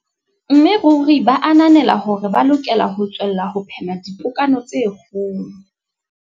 Mme ruri ba ananela hore ba lokela ho tswella ho phema dipokano tse kgolo.